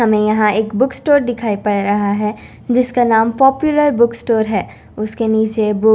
हमें यहां एक बुक स्टोर दिखाई पड़ रहा है जिसका नाम पापुलर बुक स्टोर है उसके नीचे बुक --